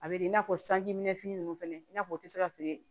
A bɛ i n'a fɔ sanji minɛnfini ninnu fana i n'a fɔ u tɛ se ka feere